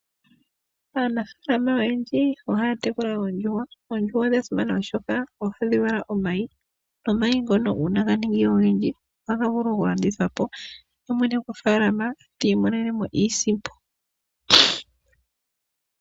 Aanafalama oyendji ohaya tekula oondjuhwa. Oondjuhwa odha simana oshoka ohadhi vala omayi nomayi ngono uuna ganinga ogendji ohaga vulu okulandithwapo yemwene gofaalama ti imonenemo iisimpo.